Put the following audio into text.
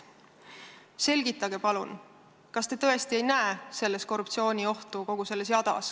Selgitage palun, kas te tõesti ei näe kogu selles jadas korruptsiooniohtu?